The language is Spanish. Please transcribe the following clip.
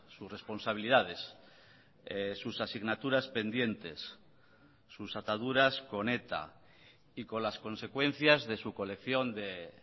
sus responsabilidades sus asignaturas pendientes sus ataduras con eta y con las consecuencias de su colección de